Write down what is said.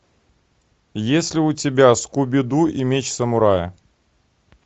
есть ли у тебя скуби ду и меч самурая